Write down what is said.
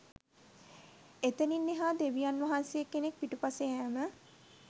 එතනින් එහා දෙවියන් වහන්සේ කෙනෙක් පිටුපස යෑම